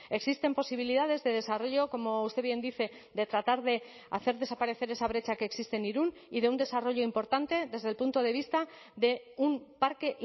existen posibilidades de desarrollo como usted bien dice de tratar de hacer desaparecer esa brecha que existe en irún y de un desarrollo importante desde el punto de vista de un parque